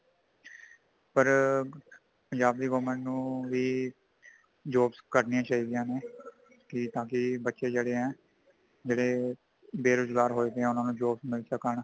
ਪਰ ਪੰਜਾਬ ਦੀ government ਨੂੰ ਵੀ , jobs ਕੱਢਣੀਆਂ ਚਾਹੀਦੀਆਂ ਨੇ ,ਕੀ ਤਾਕਿ ਬੱਚੇ ਜੇੜ੍ਹੇ ਹੈ | ਜੇੜ੍ਹੇ ਬੇਰੋਜ਼ਗਾਰ ਹੋਏ ਪਏ ਉਨ੍ਹਾਂਨੂੰ jobs ਮਿਲ਼ ਸਕਣ